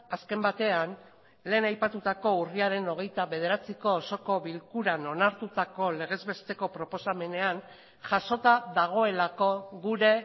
azken batean lehen aipatutako urriaren hogeita bederatziko osoko bilkuran onartutako legez besteko proposamenean jasota dagoelako gure